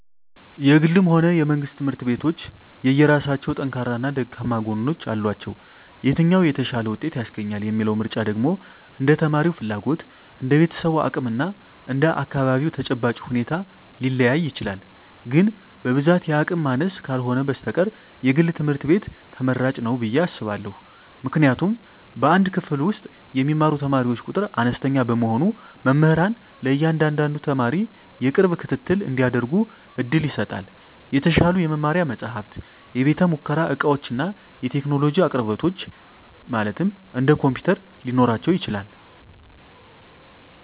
የግልም ሆነ የመንግሥት ትምህርት ቤቶች የየራሳቸው ጠንካራና ደካማ ጎኖች አሏቸው። የትኛው "የተሻለ ውጤት" ያስገኛል የሚለው ምርጫ ደግሞ እንደ ተማሪው ፍላጎት፣ እንደ ቤተሰቡ አቅም እና እንደ አካባቢው ተጨባጭ ሁኔታ ሊለያይ ይችላል። ግን በብዛት የአቅም ማነስ ካልህነ በስተቀር የግል ትምህርት ቤት ትመራጭ ንው ብየ አስባእሁ። ምክንያቱም በአንድ ክፍል ውስጥ የሚማሩ ተማሪዎች ቁጥር አነስተኛ በመሆኑ መምህራን ለእያንዳንዱ ተማሪ የቅርብ ክትትል እንዲያደርጉ ዕድል ይሰጣል። የተሻሉ የመማሪያ መጻሕፍት፣ የቤተ-ሙከራ ዕቃዎችና የቴክኖሎጂ አቅርቦቶች (እንደ ኮምፒውተር) ሊኖራቸው ይችላል።